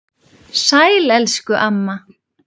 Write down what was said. Sæl elsku amma.